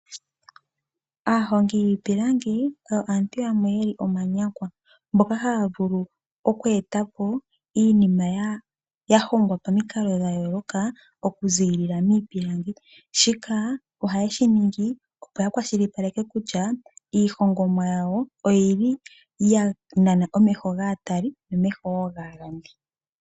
Aahongi yiipilangi oyo aantu yamwe yeli omanyakwa, mboka haya vulu oku etapo iinima yahongwa pomikalo dhayooloka okuziilila miipilangi shika oha yeshiningi opo yakwashilipaleke kutya iihongomwa yawo oyili yanana omeho gaatali nomeho wo gaalongi.